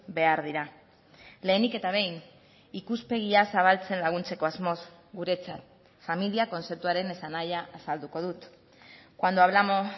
behar dira lehenik eta behin ikuspegia zabaltzen laguntzeko asmoz guretzat familia kontzeptuaren esanahia azalduko dut cuando hablamos